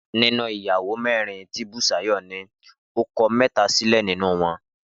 Nínú ìyàwó mẹ́rin tí Bùsúyì ní, ó ti kọ mẹ́ta sílẹ̀ nínú wọn